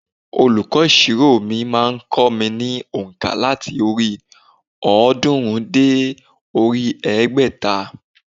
Olùkọ́ ìsirò mi má a n kó mi ní ònkà láti orí òódúnrún dé orí egbèta